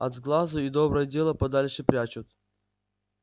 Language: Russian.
от сглазу и доброе дело подальше прячут